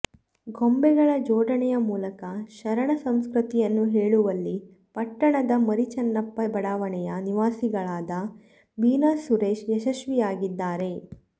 ಗೊಂಬೆಗಳ ಜೋಡಣೆಯ ಮೂಲಕ ಶರಣ ಸಂಸ್ಕೃತಿಯನ್ನು ಹೇಳುವಲ್ಲಿ ಪಟ್ಟಣದ ಮರಿಚನ್ನಪ್ಪ ಬಡಾವಣೆಯ ನಿವಾಸಿಗಳಾದ ಮೀನಾಸುರೇಶ್ ಯಶಸ್ವಿಯಾಗಿದ್ದಾರೆ